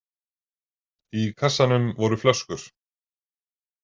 Í kassanum voru flöskur.